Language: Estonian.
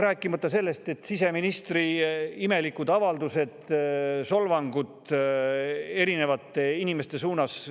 Rääkimata siseministri imelikest avaldustest, solvangutest erinevate inimeste suunas.